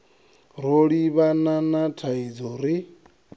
ro livhana na thaidzo ri